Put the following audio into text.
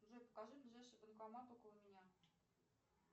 джой покажи ближайший банкомат около меня